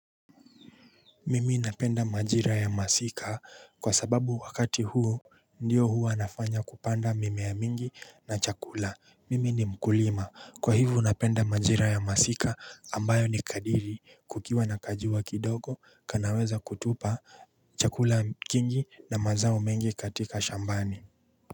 Mimi napenda majira ya masika kwa sababu wakati huu Ndiyo hua nafanya kupanda mimea mingi na chakula mimi ni mkulima kwa hivyo napenda majira ya masika ambayo ni kadiri kukiwa na kajua kidogo kanaweza kutupa chakula kingi na mazao mengi katika shambani.